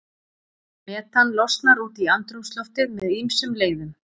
Metan losnar út í andrúmsloftið með ýmsum leiðum.